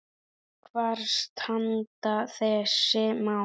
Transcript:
Hvar standa þessi mál?